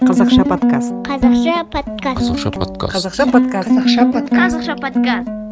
қазақша подкаст қазақша подкаст қазақша подкаст қазақша подкаст қазақша подкаст қазақша подкаст